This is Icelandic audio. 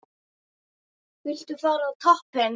Viltu fara á toppinn?